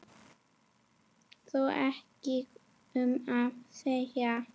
Þó ekki um of segir